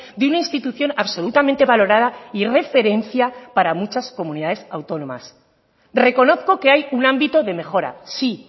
de una institución absolutamente valorada y referencia para muchas comunidades autónomas reconozco que hay un ámbito de mejora sí